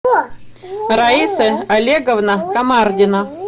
раиса олеговна комардина